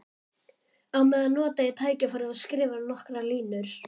Á meðan nota ég tækifærið og skrifa nokkrar línur.